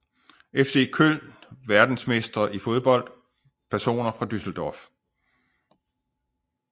FC Köln Verdensmestre i fodbold Personer fra Düsseldorf